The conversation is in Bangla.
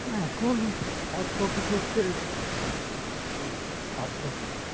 অ্যাঁ এখন কত কিছু হচ্ছে উম পার্থ